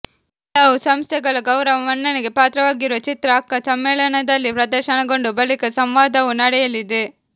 ಹಲವು ಸಂಸ್ಥೆಗಳ ಗೌರವ ಮನ್ನಣೆಗೆ ಪಾತ್ರವಾಗಿರುವ ಚಿತ್ರ ಅಕ್ಕಾ ಸಮ್ಮೇಳನದಲ್ಲಿ ಪ್ರದರ್ಶನಗೊಂಡು ಬಳಿಕ ಸಂವಾದವೂ ನಡೆಯಲಿದೆ